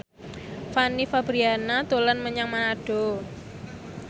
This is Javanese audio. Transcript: Fanny Fabriana dolan menyang Manado